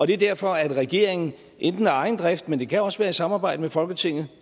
det er derfor at regeringen enten af egen drift men det kan også være i samarbejde med folketinget